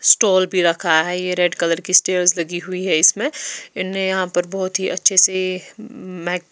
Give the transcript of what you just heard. stall भी रखा है ये रेड कलर की स्टेयर्स लगी हुई हैं इसमें इनने यहाँ पर बहुत ही अच्छे से मैक --